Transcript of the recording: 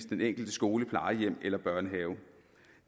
den enkelte skole eller børnehave